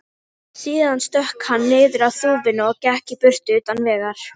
Síðan stökk hann niður af þúfunni og gekk í burtu, utan vegar.